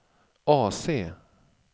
AC